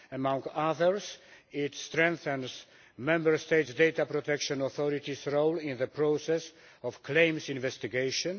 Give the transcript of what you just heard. Among others, it strengthens Member States' data protection authorities' role in the process of claims investigations.